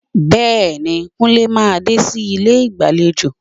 Bẹ́ẹ̀ni, Kúnlé máa dé sí ilé ìgbàlejò